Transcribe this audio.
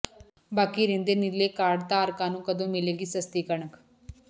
ਬਾਕੀ ਰਹਿੰਦੇ ਨੀਲੇ ਕਾਰਡ ਧਾਰਕਾਂ ਨੂੰ ਕਦੋਂ ਮਿਲੇਗੀ ਸਸਤੀ ਕਣਕ